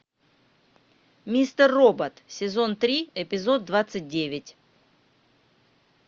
мистер робот сезон три эпизод двадцать девять